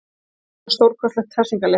Þetta er líka stórkostlegt hressingarlyf.